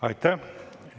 Aitäh!